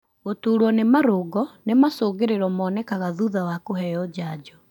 Gũtũrwo nĩ marũngo nĩ macungĩrĩro monekaga thutha wa kũheo janjo.